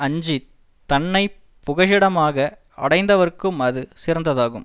அஞ்சி தன்னை புகழிடமாக அடைந்தவர்க்கும் அது சிறந்ததாகும்